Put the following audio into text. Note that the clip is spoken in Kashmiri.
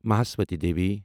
مہاسوتا دیٖوی